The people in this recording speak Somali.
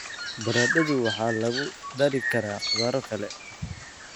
Baradhadu waxaa lagu dari karaa khudrado kale.